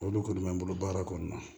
Olu kɔni bɛ n bolo baara kɔnɔna na